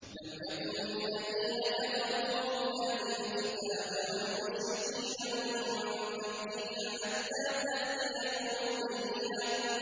لَمْ يَكُنِ الَّذِينَ كَفَرُوا مِنْ أَهْلِ الْكِتَابِ وَالْمُشْرِكِينَ مُنفَكِّينَ حَتَّىٰ تَأْتِيَهُمُ الْبَيِّنَةُ